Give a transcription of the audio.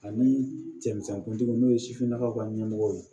Ani cɛmisɛn kuntigi n'o ye sifinnakaw ka ɲɛmɔgɔ ye